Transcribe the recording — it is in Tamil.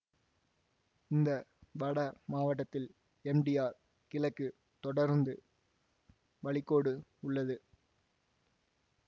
இந்த வட மாவட்டத்தில் எம்டிஆர் கிழக்கு தொடருந்து வழிக்கோடு உள்ளது